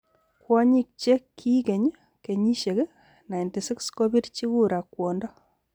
Kwonyik che kiikeny kenyishek 96 kobirji kura kwondo